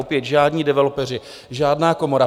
Opět žádní developeři, žádná komora.